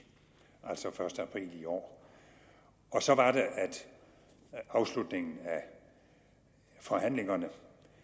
altså den første april i år og så var det at afslutningen af forhandlingerne